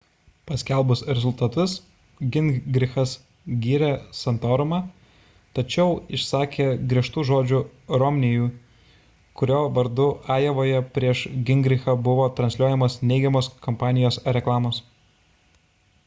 paskelbus rezultatus gingrichas gyrė santorumą tačiau išsakė griežtų žodžių romney'iui kurio vardu ajovoje prieš gingrichą buvo transliuojamos neigiamos kampanijos reklamos